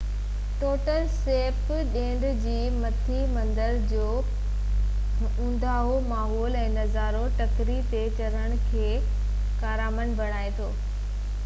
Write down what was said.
tunnel سيپ ڍنڍ جي مٿي مندر جو اونداهو ماحول ۽ نظارو ٽڪري تي چڙهڻ کي ڪارامند بڻائي ٿو